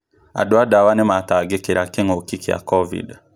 Andũ a ndawa nĩmatangĩkĩra kĩngũki kĩa kovid